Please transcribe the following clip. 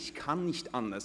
Ich kann nicht anders.